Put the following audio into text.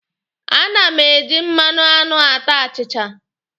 A na m e ji mmanụ aṅụ ata achịcha.